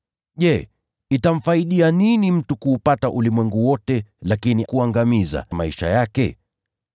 Je, itamfaidi nini mtu kuupata ulimwengu wote, lakini akapoteza au kuangamiza nafsi yake?